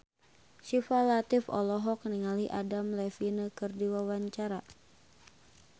Syifa Latief olohok ningali Adam Levine keur diwawancara